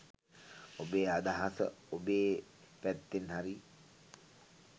ඔබේ අදහස ඔබේ පැත්තෙන් හරිය